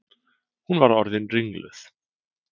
Hún var orðin ringluð.